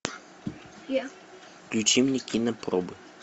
включи мне кинопробы